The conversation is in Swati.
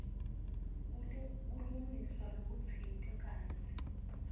kulungiswa lokutsite kantsi